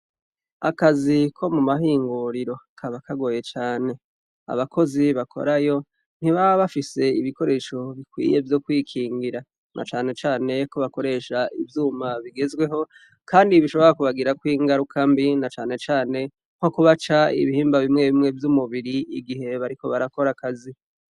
Akazi ko mu mahingiriro kaba kagoye cane, abakozi bakorayo ntibaba bafse ibikoresho bikwiye vyokwikingira na cane cane ko bakoresh' ivyuma bigezweho kandi bishoboka kubagira kwingaruka mbi na cane cane nko kubaca ibihimba bimwe bimwe vy umubir' igihe bariko barakor' akazi